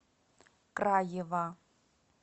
краева